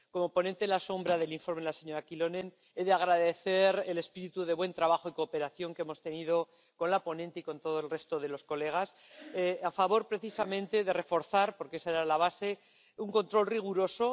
Como ponente alternativa del informe de la señora Kyllönen, he de agradecer el espíritu de buen trabajo y cooperación que hemos tenido con la ponente y con el resto de los colegas para, precisamente, reforzar —porque esa era la base— un control riguroso.